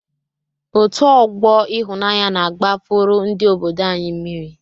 Òtù ọgbọ Ịhụnanya na-agbapuru ndị obodo anyị mmiri.